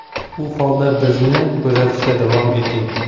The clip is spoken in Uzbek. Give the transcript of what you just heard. U holda bizni kuzatishda davom eting.